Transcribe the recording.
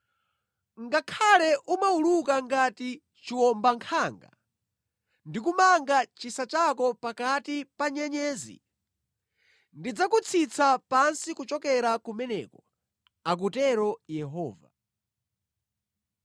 Koma ngakhale umawuluka ngati chiwombankhanga ndi kumanga chisa chako pakati pa nyenyezi, ndidzakutsitsa pansi kuchokera kumeneko,” akutero Yehova.